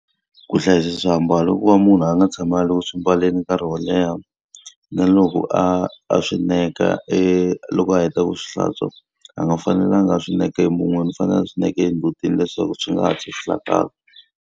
Ku hlayisa swiambalo ku va munhu a nga tshami a ri ku swi mbaleni nkarhi wo leha. Na loko a a swi neka e loko a heta ku swi hlantswa, a nga fanelangi a swi neka emun'wini. U fanele swi neka endzhutini leswaku swi nga hatli swi hlakala.